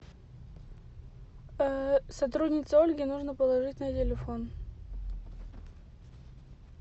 сотруднице ольге нужно положить на телефон